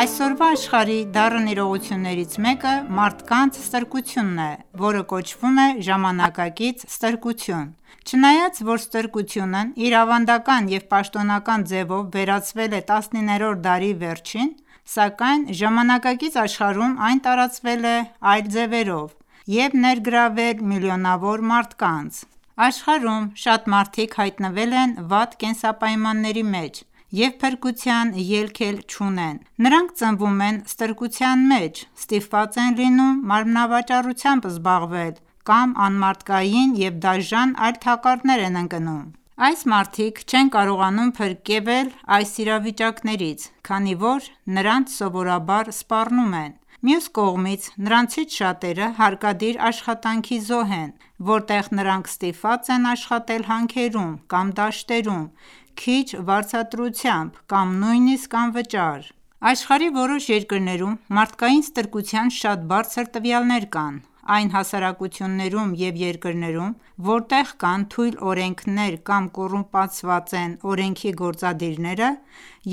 Այսօրվա աշխարհի դառն իրողություններից մեկը՝ մարդկանց ստրկությունն է, որը կոչվում է ժամանակակից ստրկություն:Չնայած, որ ստրկատկությունն իր ավանդական և պաշտոնական ձևով վերացվել է 19-րդ դարի վերջին, սակայն ժամանակակից աշխարհում այն ​​տարածվել է այլ ձևերով և ներգրավել միլիոնավոր մարդկանց: Աշխարհում շատ մարդիկ հայտնվել են վատ կենսապայմանների մեջ և փրկության ելք էլ չունեն:Նրանք ծնվում են ստրկության մեջ, ստիպված են լինում մարմնավաճառությամբ զբաղվել կամ անմարդկային և դաժան այլ թակարդներ են ընկնում: Այս մարդիկ չեն կարողանում փրկվել այս իրավիճակներից, քանի որ նրանց սովորաբար սպառնում են:Մյուս կողմից, նրանցից շատերը հարկադիր աշխատանքի զոհ են, որտեղ նրանք ստիպված են աշխատել հանքերում կամ դաշտերում ՝քիչ վարձատրությամբ, կամ նույնիսկ անվճար :Աշխարհի որոշ երկրներում մարդկային ստրկության շատ բարձր տվյալներ կան։ Այն հասարակություններում և երկրներում, որտեղ կան թույլ օրենքներ կամ կոռումպացված են օրենքի գործադիրները,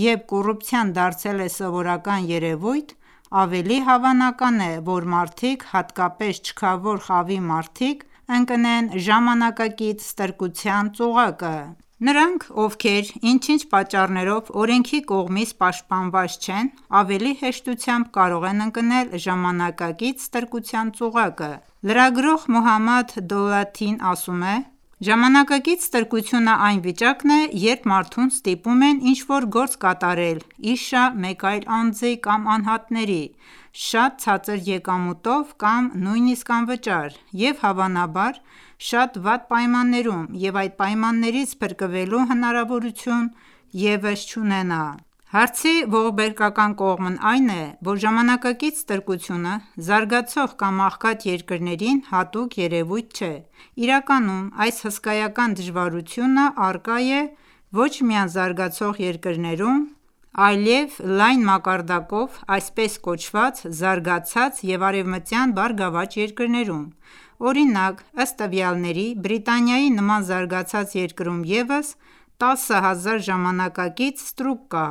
և կոռուպցիան դարձել է սովորական երևույթ, ավելի հավանական է, որ մարդիկ, հատկապես չքավոր խավի մարդիկ, ընկնեն ժամանակակից ստրկության ծուղակը:Նրանք, ովքեր ինչ-ինչ պատճառներով օրենքի կողմից պաշտպանված չեն, ավելի հեշտությամբ կարող են ընկնել ժամանակակից ստրկության ծուղակը։ Լրագրող «Մոհամադ Դոլաթի»-ն ասում է.«Ժամանակակից ստրկությունը այն վիճակն է, երբ մարդուն ստիպում են ինչ-որ գործ կատարել ի շահ մեկ այլ անձի կամ անհատների՝ շատ ցածր եկամուտով կամ նույնիսկ անվճար և, հավանաբար, շատ վատ պայմաններում, և այդ պայմաններից փրկվելու հնարավորություն ևս չունենա»։ Հարցի ողբերգական կողմն այն է, որ ժամանակակից ստրկությունը, զարգացող կամ աղքատ երկրներին հատուկ երևույթ չէ։ Իրականում այս հսկայական դժվարությունը առկա է ոչ միայն զարգացող երկրներում, այլև լայն մակարդակով ՝այսպես կոչված զարգացած և արևմտյան բարգավաճ երկրներում:Օրինակ՝ ըստ տվյալների՝ Բրիտանիայի նման զարգացած երկրում ևս տասը հազար ժամանակակից ստրուկ կա։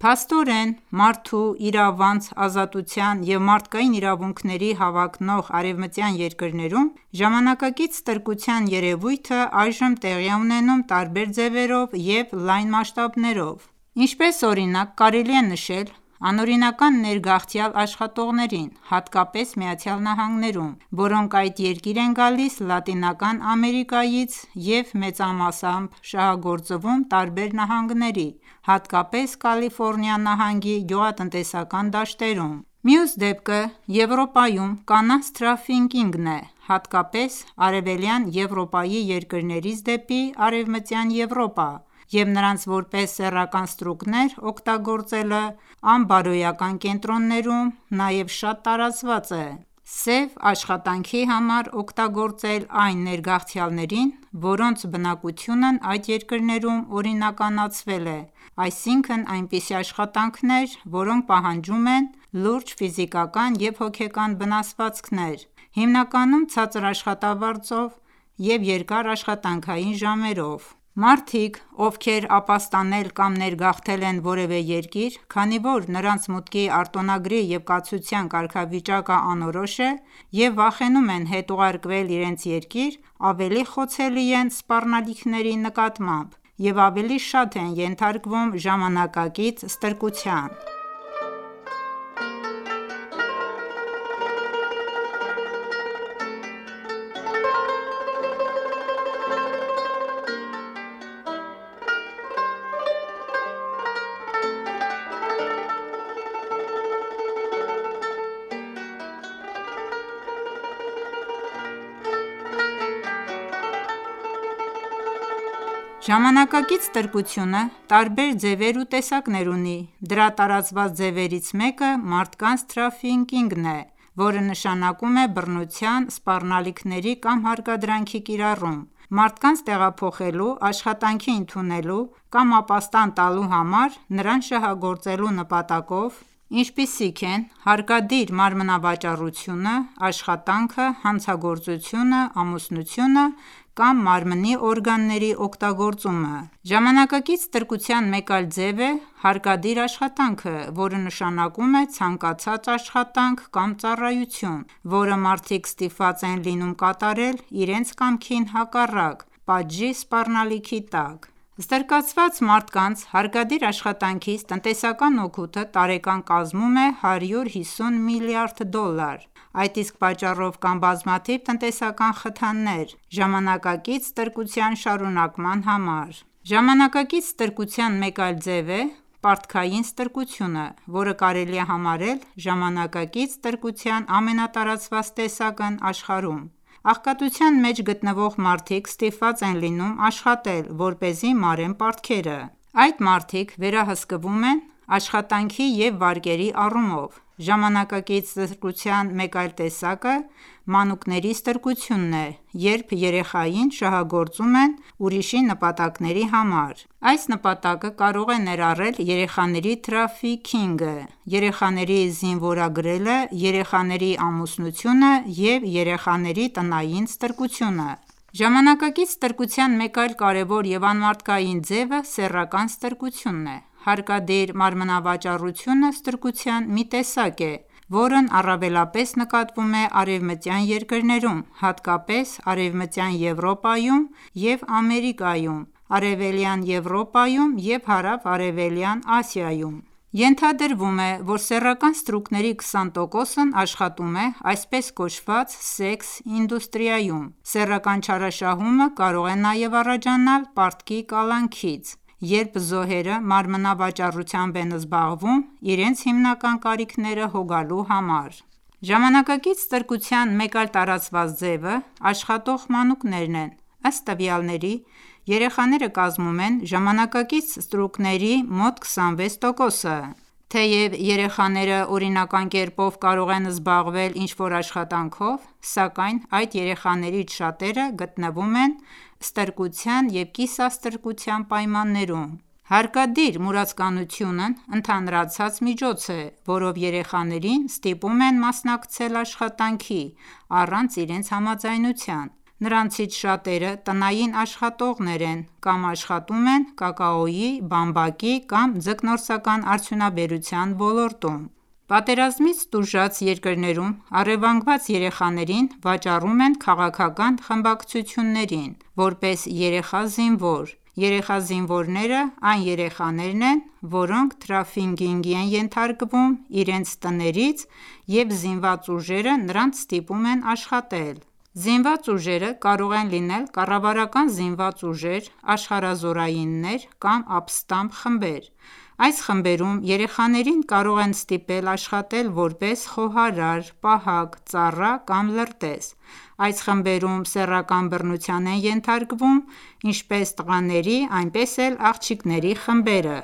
Փաստորեն, մարդու իրավանց, ազատության և մարդկային իրավունքների հավակնող արևմտյան երկրներում ժամանակակից ստրկության երևույթը այժմ տեղի է ունենում տարբեր ձևերով և լայն մասշտաբներով:Ինչպես օրինակ կարելի է նշել ՝անօրինական ներգաղթյալ աշխատողներին, հատկապես ԱՄՆ-ում, որոնք այդ երկիր են գալիս Լատինական Ամերիկայից և մեծամասնաբար շահագործվում տարբեր նահանգների, հատկապես Կալիֆորնիա նահանգի գյուղատնտեսական դաշտերում:Մյուս դեպքը Եվրոպայում կանանց թրաֆիքինգն է, հատկապես Արևելյան Եվրոպայի երկրներից դեպի Արևմտյան Եվրոպա և նրանց որպես սեռական ստրուկներ օգտագործելը անբարոյական կենտրոններում, նաև շատ տարածված է սև աշխատանքի համար օգտագործել այն ներգաղթյալներին, որոնց բնակությունն այդ երկրներում օրինականացվել է, այսինքն՝ այնպիսի աշխատանքներ, որոնք պահանջում են լուրջ ֆիզիկական և հոգեկան վնասվածքներ, հիմնականում ցածր աշխատավարձով և երկար աշխատանքային ժամերով:Մարդիկ, ովքեր ապաստանել ​​կամ ներգաղթել են որևէ երկիր, քանի որ նրանց մուտքի արտոնագրի և կացության կարգավիճակը անորոշ է, և վախենում են հետ ուղարկվել իրենց երկիր, ավելի խոցելի են սպառնալիքների նկատմամբ և ավելի շատ են ենթարկվում ժամանակակից ստրկության: Ժամանակակից ստրկությունը տարբեր ձևեր ու տեսակներ ունի:Դրա տարածված ձևերից մեկը մարդկանց թրաֆիքինգն է, որը նշանակում է բռնության, սպառնալիքների կամ հարկադրանքի կիրառում, մարդկանց տեղափոխելու, աշխատանքի ընդունելու կամ ապաստան տալու համար՝ նրանց շահագործելու նպատակով, ինչպիսիք են՝ հարկադիր մարմնավաճառությունը, աշխատանքը, հանցագործությունը, ամուսնությունը կամ մարմնի օրգանների օգտագործումը:Ժամանակակից ստրկության մեկ այլ ձև է հարկադիր աշխատանքը, որը նշանակում է ցանկացած աշխատանք կամ ծառայություն, որը մարդիկ ստիպված են լինում կատարել իրենց կամքին հակառակ՝ պատժի սպառնալիքի տակ։ Ստրկացված մարդկանց հարկադիր աշխատանքից տնտեսական օգուտը տարեկան կազմում է 150 միլիարդ դոլար։ Այդ իսկ պատճառով կան բազմաթիվ տնտեսական խթաններ ժամանակակից ստրկության շարունակման համար:Ժամանակակից ստրկության մեկ այլ ձև է՝ պարտքային ստրկությունը, որը կարելի է համարել ժամանակակից ստրկության ամենատարածված տեսակն աշխարհում։ Աղքատության մեջ գտնվող մարդիկ ստիպված են լինում աշխատել, որպեսզի մարեն պարտքերը:Այդ մարդիկ վերահսկվում են աշխատանքի և վարկերի առումով։ Ժամանակակից ստրկության մեկ այլ տեսակը մանուկների ստրկությունն է, երբ երեխային շահագործում են ուրիշի նպատակների համար։ Այս նպատակը կարող է ներառել երեխաների թրաֆիքինգը, երեխաների զինվորագրելը, երեխաների ամուսնությունը և երեխաների տնային ստրկությունը:Ժամանակակից ստրկության մեկ այլ կարևոր և անմարդկային ձևը սեռական ստրկությունն է:Հարկադիր մարմնավաճառությունը ստրկության մի տեսակ է, որն առավելապես նկատվում է արևմտյան երկրներում, հատկապես Արևմտյան Եվրոպայում և Ամերիկայում, Արևելյան Եվրոպայում և Հարավարևելյան Ասիայում:Ենթադրվում է, որ սեռական ստրուկների 20%-ն աշխատում է այսպես կոչված սեքս-իդուստրիայում:Սեռական չարաշահումը կարող է նաև առաջանալ պարտքի կալանքից:Երբ զոհերը մարմնավաճառությամբ են զբաղվում՝ իրենց հիմնական կարիքները հոգալու համար: Ժամանակակից ստրկության մեկ այլ տարածված ձևը աշխատող մանուկներն են:Ըստ տվյալների՝ երեխաները կազմում են ժամանակակից ստրուկների մոտ 26%-ը։Թեև երեխաները օրինական կերպով կարող են զբաղվել ինչ-որ աշխատանքով, սակայն այդ երեխաներից շատերը գտնվում են ստրկության և կիսաստրկության պայմաններում:Հարկադիր մուրացկանությունը ընդհանրացած միջոց է, որով երեխաներին ստիպում են մասնակցել աշխատանքի առանց իրենց համաձայնության:Նրանցից շատերը տնային աշխատողներ են կամ աշխատում են կակաոյի, բամբակի կամ ձկնորսական արդյունաբերության ոլոլրտում: Պատերազմից տուժած երկրներում առևանգված երեխաներին վաճառում են քաղաքական խմբակցություններին՝ որպես երեխա զինվոր:Երեխա զինվորները այն երեխաներն են, որոնք թրաֆիքինգի են ենթարկվում իրենց տներից և զինված ուժերը նրանց ստիպում են աշխատել: Զինված ուժերը կարող են լինել կառավարական զինված ուժեր, աշխարհազորայիններ, կամ ապստամբ խմբեր:Այս խմբերում երեխաներին կարող են ստիպել աշխատել որպես խոհարար, պահակ, ծառա կամ լրտես:Այս խմբերում սեռական բռնության են ենթարկվում ինչպես տղաների, այնպես էլ աղջիկների խմբերը: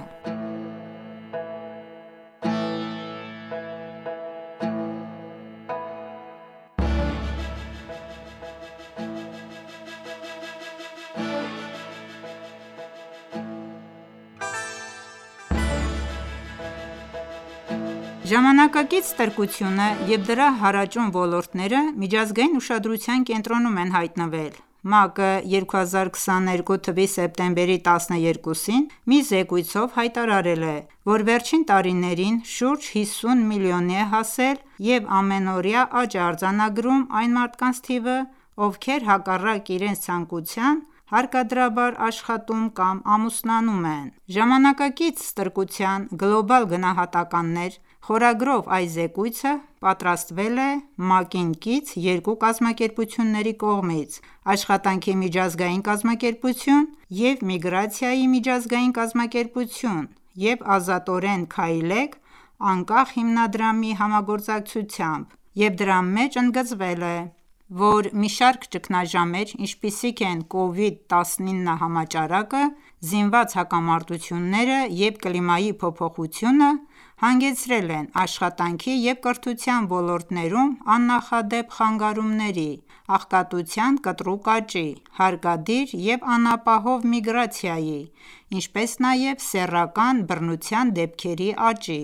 Ժամանակակից ստրկությունը և դրա հարաճուն ոլորտները միջազգային ուշադրության կենտրոնում են հայտնվել: ՄԱԿ-ը,2022 թվականի սեպտեմբերի 12-ին մի զեկույցով հայտարարել է,որ վերջին տարիներին շուրջ 50 միլիոնի է հասել և ամենօրյա աճ է արձանագրում այն մարդկանց թիվը, ովքեր հակառակ իրենց ցանկության հարկադրաբար աշխատում ,կամ ամուսնանում են: «Ժամանակակից ստրկության գլոբալ գնահատականներ» խորագրով այս զեկույցը պատրաստվել է ՄԱԿ-ին կից երկու կազմակերպությունների կողմից՝ «Աշխատանքի միջազգային կազմակերպություն» և «Միգրացիայի միջազգային կազմակերպություն» և «Ազատորեն քայլեք» անկախ հիմնադրամի համագործակցությամբ և դրա մեջ ընդգծվել է, որ մի շարք ճգնաժամեր, ինչպիսիք են կովիդ 19 համաճարակը, զինված հակամարտությունները և կլիմայի փոփոխությունը հանգեցրել են ՝աշխատանքի և կրթության ոլորտներում աննախադեպ խանգարումների, աղքատության կտրուկ աճի, հարկադիր և անապահով միգրացիայի, ինչպես նաև սեռական բռնության դեպքերի աճի։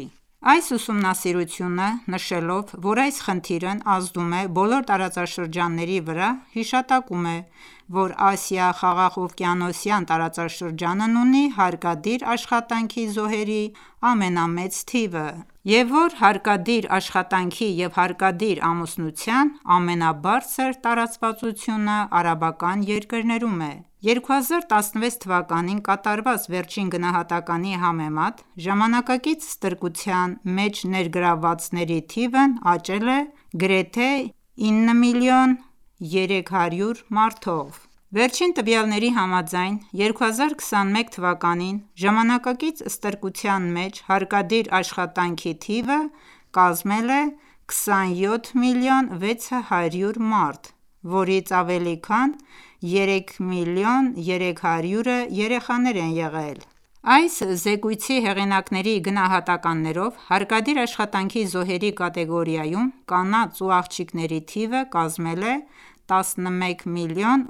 Այս ուսումնասիրությունը նշելով, որ այս խնդիրն «ազդում է բոլոր տարածաշրջանների վրա», հիշատակում է, որ Ասիա-խաղաղօվկիանոսյան տարածաշրջանն ունի հարկադիր աշխատանքի զոհերի ամենամեծ թիվը, և որ հարկադիր աշխատանքի և հարկադիր ամուսնության ամենաբարձր տարածվածությունը արաբական երկրներում է: 2016 թվականին կատարված վերջին գնահատականի համեմատ՝ «ժամանակակից ստրկության» մեջ ներգրավվածների թիվն աճել է գրեթե 9,3 միլիոն մարդով։ Վերջին տվյալների համաձայն՝ 2021 թվականին ժամանակակից ստրկության մեջ հարկադիր աշխատանքի թիվը կազմել է 27,6 միլիոն մարդ, որից ավելի քան 3,3 միլիոնը երեխաներ են եղել: Այս զեկույցի հեղինակների գնահատականներով՝ հարկադիր աշխատանքի զոհերի կատեգորիայում կանանց և աղջիկների թիվը կազմել է 11,8 միլիոն,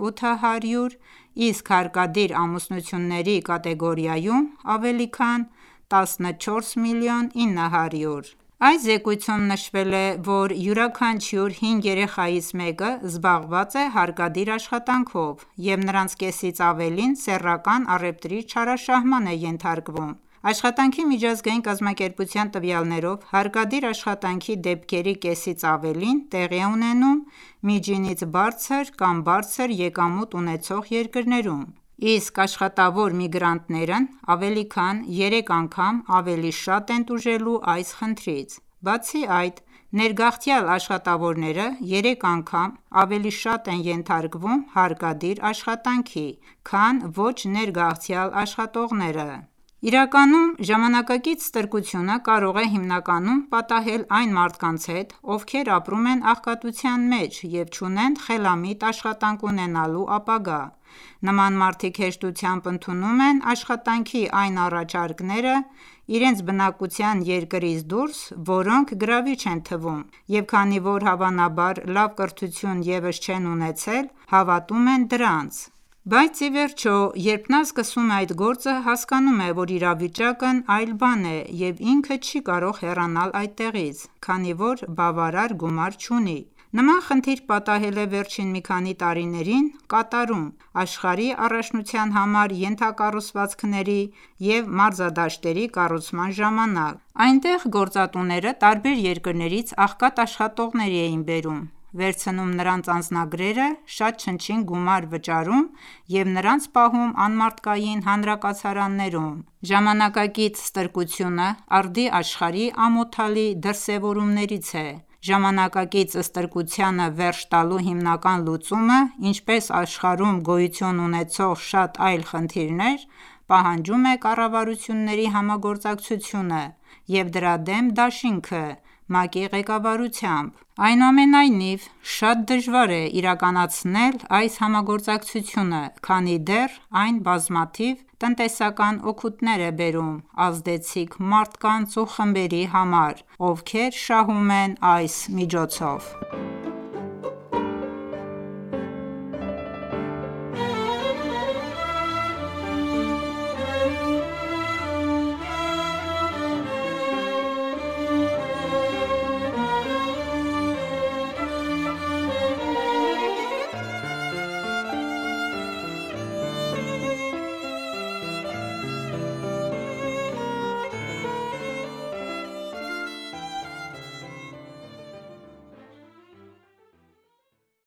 իսկ հարկադիր ամուսնությունների կատեգորիայում՝ ավելի քան 14,9 միլիոն։ Այս զեկույցում նշվել է, որ յուրաքանչյուր հինգ երեխայից մեկը զբաղված է հարկադիր աշխատանքով, և նրանց կեսից ավելին սեռական առևտրի չարաշահմանն է ենթարկվում: Աշխատանքի միջազգային կազմակերպության տվյալներով՝ հարկադիր աշխատանքի դեպքերի կեսից ավելին տեղի է ունենում միջինից բարձր կամ բարձր եկամուտ ունեցող երկրներում, իսկ աշխատավոր միգրանտներն ավելի քան երեք անգամ ավելի շատ են տուժելու այս խնդրից: Բացի այդ, ներգաղթյալ աշխատավորները երեք անգամ ավելի շատ են ենթարկվում հարկադիր աշխատանքի, քան ոչ ներգաղթյալ աշխատողները:Իրականում, ժամանակակից ստրկությունը կարող է հիմնականում պատահել այն մարդկանց հետ, ովքեր ապրում են աղքատության մեջ և չունեն խելամիտ աշխատանք ունենալու ապագա:Նման մարդիկ հեշտությամբ ընդունում են աշխատանքի այն առաջարկները իրենց բնակության երկրից դուրս, որոնք գրավիչ են թվում, և քանի որ հավանաբար լավ կրթություն ևս չեն ունեցել, հավատում են դրանց։ Բայց ի վերջո, երբ նա սկսում է այդ գործը, հասկանում է, որ իրավիճակն այլ բան է, և ինքը չի կարող հեռանալ այդտեղից, քանի որ բավարար գումար չունի։ Նման խնդիր պատահել է վերջին մի քանի տարիներին Կատարում, աշխարհի առաջնության համար ենթակառուցվածքների և մարզադաշտերի կառուցման ժամանակ։ Այնտեղ գործատուները տարբեր երկրներից աղքատ աշխատողներ էին բերում, վերցնում նրանց անձնագրերը, շատ չնչին գումար վճարում, և նրանց պահում անմարդկային հանրակացարաններում։ Ժամանակակից ստրկությունը ,արդի աշխարհի ամոթալի դրսեւորումներից է։Ժամանակակից ստրկությանը վերջ տալու հիմնական լուծումը, ինչպես աշխարհում գոյություն ունեցող շատ այլ խնդիրներ ,պահանջում է կառավարությունների համագործակցությունը և դրա դեմ դաշինքը՝ ՄԱԿ-ի ղեկավարությամբ:Այնուամենայնիվ, շատ դժվար է իրականացնել այս համագործակցությունը քանի դեռ այն բազմաթիվ տնտեսական օգուտներ է բերում ազդեցիկ մարդկանց ու խմբերի համար, ովքեր շահում են այս միջոցով: